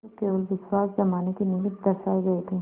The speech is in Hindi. जो केवल विश्वास जमाने के निमित्त दर्शाये गये थे